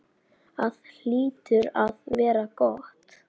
Það hlýtur að vera gott.